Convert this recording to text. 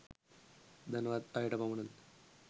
ධනවත්ම අයට පමණද?